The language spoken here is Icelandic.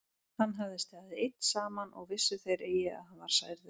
Hann hafði staðið einn saman og vissu þeir eigi að hann var særður.